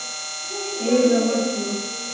Heyra varla.